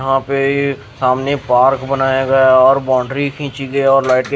यहाँ पे ये सामने पार्क बनाया गया और बाउंड्री खींची गई और --